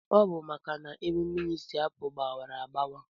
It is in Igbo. Ọbu maka na ebe mmiri si apu gbawara agbawa.